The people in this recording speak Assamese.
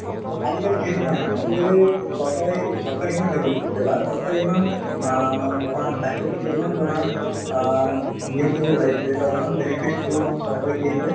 আজিকালি সেইটো নাই মানে আজিকালি চৰকাৰে চৰকাৰে ইমান develop হৈছে বা চৰকাৰে ইমান অ ধৰা স্বাস্থ্যৰ প্ৰতি ইমান ধৰা অ নিয়মবোৰ ওলাইছে বা ইমান benefits বোৰ মানে চৰকাৰে দি আছে